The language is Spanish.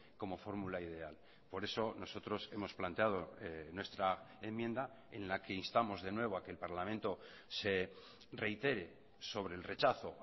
como formula ideal por eso nosotros hemos planteado nuestra enmienda en la que instamos de nuevo a que el parlamento se reitere sobre el rechazo